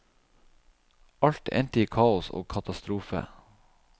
Alt endte i kaos og katastrofe.